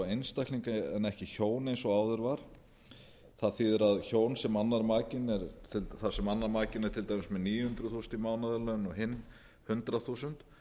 einstaklinga en ekki hjón eins og áður var það þýðir að hjón þar sem annar makinn er til dæmis með níu hundruð þúsund í mánaðarlaun og hinn hundrað þúsund